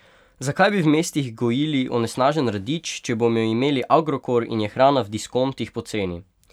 Zakaj bi v mestih gojili onesnažen radič, če bomo imeli Agrokor in je hrana v diskontih poceni?